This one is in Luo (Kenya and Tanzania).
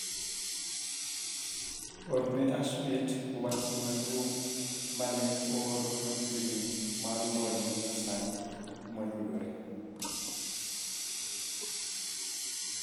Orne Ashmit wachne maduong' mane oor machiegni mar lony manya sani moyudore